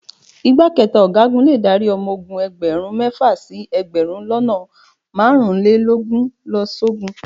Ìgbákẹta Ọ̀gágun le dárí ọmọ ogun ẹgbẹ̀rún mẹ́fà sí ẹgbẹ̀rún lọ́nà márùn-ún lélógún lọ sógun.